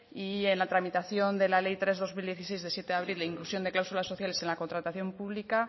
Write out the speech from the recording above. y en la tramitación de la ley tres barra dos mil dieciséis de siete de abril de inclusión de cláusulas sociales en la contratación pública